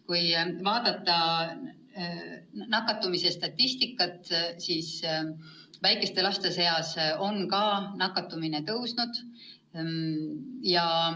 Kui vaadata nakatumise statistikat, siis näeme, et ka väikeste laste seas on nakatumine tõusnud.